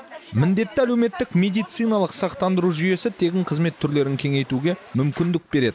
міндетті әлеуметтік медициналық сақтандыру жүйесі тегін қызмет түрлерін кеңейтуге мүмкіндік береді